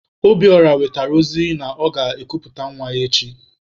Obiora wetere ozi na ọ na-ekuputa nwa echi.